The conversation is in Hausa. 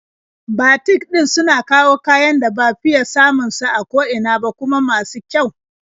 Batik ɗin suna kawo kayan da ba fiya samun su a ko ina ba, kuma masu kyau.